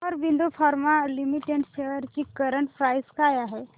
Aurobindo pharma limited shares ची current price काय आहे